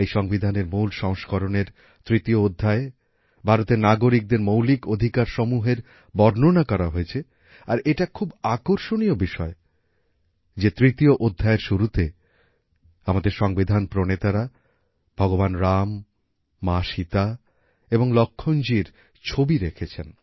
এই সংবিধানের মূল সংস্করণের তৃতীয় অধ্যায়ে ভারতের নাগরিকদের মৌলিক অধিকারসমূহের বর্ণনা করা হয়েছে আর এটা খুব আকর্ষণীয় বিষয় যে তৃতীয় অধ্যায়ের শুরুতে আমাদের সংবিধান প্রণেতারা ভগবান রাম মা সীতা এবং লক্ষণজীর ছবি রেখেছেন